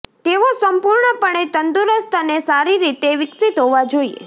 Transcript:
તેઓ સંપૂર્ણપણે તંદુરસ્ત અને સારી રીતે વિકસિત હોવા જોઈએ